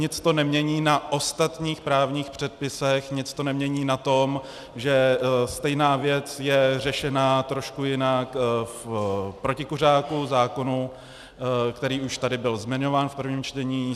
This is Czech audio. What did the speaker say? Nic to nemění na ostatních právních předpisech, nic to nemění na tom, že stejná věc je řešena trošku jinak v protikuřáku, zákonu, který už tady byl zmiňován v prvním čtení.